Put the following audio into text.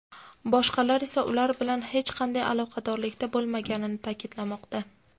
boshqalari esa ular bilan hech qanday aloqadorlikda bo‘lmaganini ta’kidlamoqda.